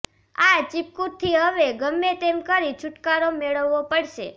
આ ચીપકુથી હવે ગમે તેમ કરી છુટકારો મેળવવો પડશે